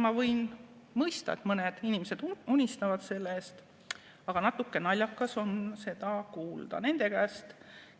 Ma võin mõista, et mõned inimesed unistavad sellest, aga natukene naljakas on seda kuulda nende käest,